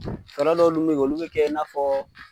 Fara dɔw olu bɛ kɛ, olu bɛ kɛ i na fɔ.